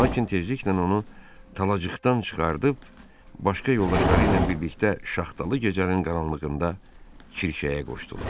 Lakin tezliklə onu talaçıqdan çıxardıb başqa yoldaşları ilə birlikdə şaxtalı gecənin qaranlığında kirşəyə qoşdular.